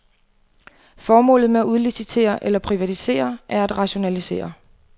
Formålet med at udlicitere eller privatisere er at rationalisere.